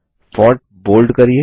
font bold करिये